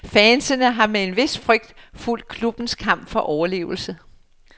Fansene har med en vis frygt fulgt klubbens kamp for overlevelse.